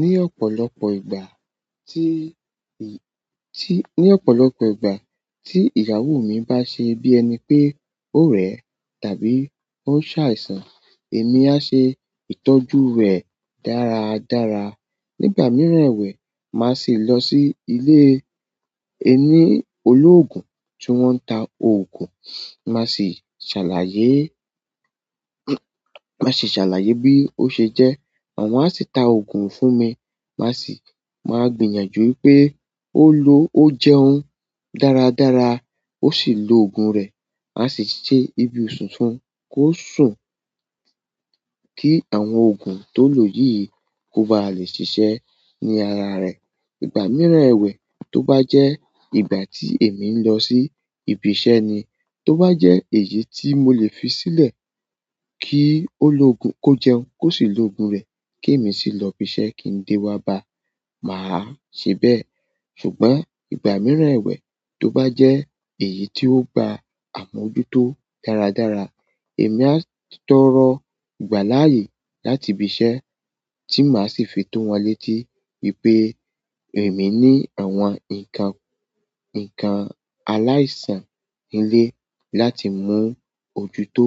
Ní ọ̀pọ̀lọpọ̀ ìgbà tí, tí, ní ọ̀pọ̀lọpọ̀ ìgbà tí ìyàwó mi bá ṣe bí ẹni pé ó rẹ̀, tàbí ó ń ṣàìsàn, èmi á ṣe ìtọ́jú rẹ̀ dára dára. Nígbà mìíràn ẹwẹ̀, màá sì lọ sí ilé ẹni olóògùn tí wọ́n ń ta òògùn, màá sì ṣàlàyé, màá sì ṣàlàyé bí ó ṣe jẹ́. Àwọn á sì ta òògùn fún mi, màá sì, màá gbìyànjú pé ó lo, ó jẹun dáradára, ó sì lo òògùn rẹ̀. Màá sì ṣe ibudun fún kó sùn kí àwọn òògùn tó lò yìí kó ba lè ṣiṣẹ́ ní ara rẹ̀. Ìgbà mìíràn ẹwẹ̀, tó bá jẹ́ ìgbà tí èmi ń lọ sí ibi iṣẹ́ ni, tó bá jẹ́ èyí tí mo lè fi sílẹ̀ kí oloogun kó jẹun, kó sì lo òògùn rẹ̀, kí èmi sì lọ ibi iṣẹ́ kí n dé wá bá a, màá ṣe bẹ́ẹ̀. Ṣùgbọ́n ìgbà mìíràn ẹwẹ̀, tó bá jẹ́ èyí tí ó gba àmójútó dáradára, èmi á tọrọ ìgbà láàyè láti ibi iṣẹ́ tí màá sì fi to wọn létí wípé èmi ní àwọn ǹkan, ǹkan aláìsàn ilé láti muojútó.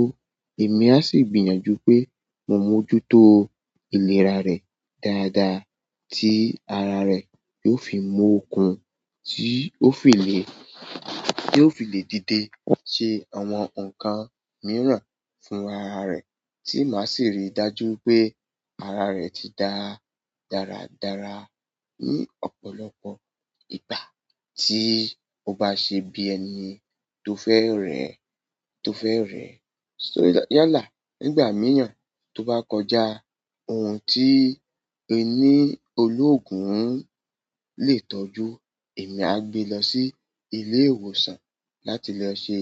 Èmi á sì gbìyànjú pé mo mójútó ìlera rẹ̀ dáadáa tí ara rẹ̀ yóò fi mú okùn tí ó fi lè, tí ó fi lè díde ṣe àwọn ǹkan mìíràn fún ara rẹ̀ tí màá sì rí i dájú pé ara rẹ̀ ti dá dáradára. Ní ọ̀pọ̀lọpọ̀ ìgbà tí ó bá ṣe bí ẹni tó fẹ́ rẹ̀, tó fẹ́ rẹ̀. Só yàlá, nígbà mìíràn tó bá kọjá ohun tí ẹni olóògùn lè tọ́jú, èmi á gbé lọ sí ilé ìwòsàn láti lo ṣe,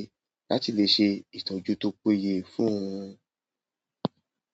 láti lè ṣe ìtọ́jú tó péye fún òun.